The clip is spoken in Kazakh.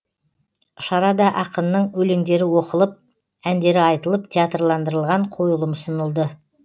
шарада ақынның өлеңдері оқылып әндері айтылып театрландырылған қойылым ұсынылды